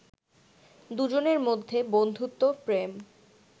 দুজনের মধ্যে বন্ধুত্ব, প্রেম